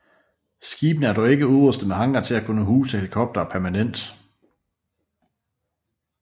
Skibene er dog ikke udrustet med hangar til at kunne huse helikoptere permanent